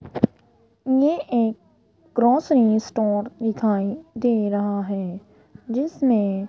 ये एक grocery store दिखाई दे रहा है जिसमें --